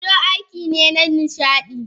Dodo aiki ne na nishaɗi